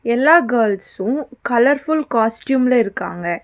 எல்லா girls colourful காஸ்டியூம்ல இருக்காங்க.